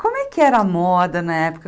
Como é que era a moda na época?